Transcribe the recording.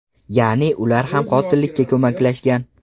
Ya’ni ular ham qotillikka ko‘maklashgan.